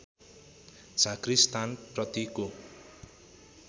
झाँक्री स्थान प्रतिको